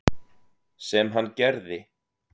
Sem hann gerði.